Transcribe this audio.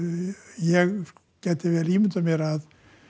ég gæti vel ímyndað mér að